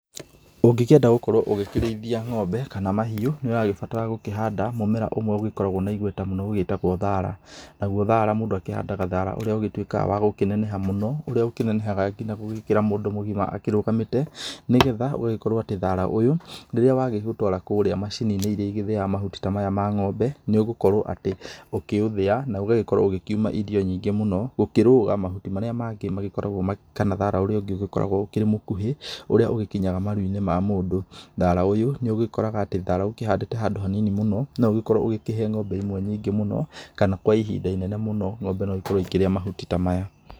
Ũngĩkĩenda gũgĩkorwo ũkĩrĩithia ng'ombe kana mahiũ, nĩ ũragĩbatara gũkĩhanda mũmera ũmwe ũgĩkoragwo na igweta mũno ũgĩtagwo thaara. Naguo thaara mũndũ akĩhandaga thaara ũrĩa ũgĩtuikaga wa kũneneha mũno, ũrĩa ũkĩnenehaga gũkĩra mũndu mũgima akĩrũgamĩte. Nĩgetha gũgĩtuĩka atĩ thaaraa ũyũ rĩrĩa wagigũtwara kũrĩa macini-inĩ iria igĩthĩaga mahuti ta maya ma ng'ombe nĩugũkorwo atĩ ũkĩũthĩa na ũgagĩkorwo ũkauma irio nyingĩ mũno gũkĩrũga mahuti marĩ mangi magĩkoragwo kana thaara ũrĩa ungĩ ũgĩkoragwo ũkĩrĩ mũkuhĩ, ũrĩa ũgĩkinyaga maru-inĩ ma mũndu. Thaara ũyũ nĩũgikoraga atĩ thaara ukĩhandĩte handũ hanini mũno noũgĩkorwo ũkĩhe ng'ombe imwe nyingĩ mũno, kana kwa ihinda inene mũno ng'ombe no ikorwo ikĩrĩa mahuti ta maya.